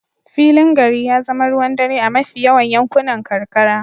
Filin gari ya zama ruwan dare a mafi yawan yankunan karkara.